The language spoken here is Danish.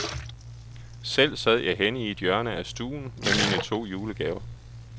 Selv sad jeg henne i et hjørne af stuen med mine to julegaver.